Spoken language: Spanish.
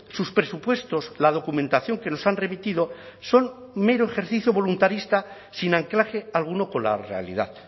sus presupuestos la documentación que nos han remitido son mero ejercicio voluntarista sin anclaje alguno con la realidad